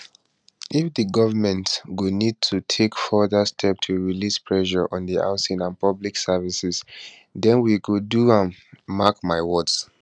if di govment go need to take further steps to release pressure on housing and public services den we go do am mark my words